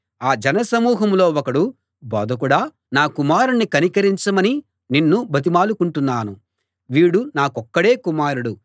ఆ జనసమూహంలో ఒకడు బోధకుడా నా కుమారుణ్ణి కనికరించమని నిన్ను బతిమాలుకుంటున్నాను వీడు నాకొక్కడే కుమారుడు